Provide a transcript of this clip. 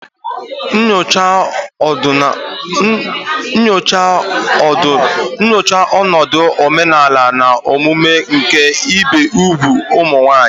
Nyochaa ọnọdụ omenala na omume nke ibi úgwù ụmụ nwanyị.